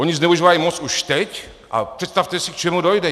Oni zneužívají moc už teď a představte si, k čemu dojde.